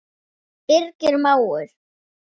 Birgir mágur.